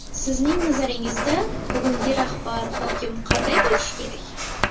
Sizning nazaringizda, bugungi rahbar, hokim qanday bo‘lishi kerak?